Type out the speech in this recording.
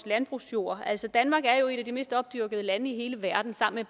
landbrugsjord danmark er jo et af de mest opdyrkede lande i hele verden sammen